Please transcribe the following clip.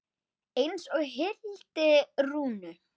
Eins og Hildi Rúnu.